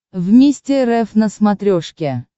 вместе рф на смотрешке